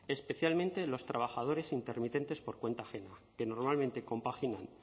especialmente los trabajadores intermitentes por cuenta ajena que normalmente compaginan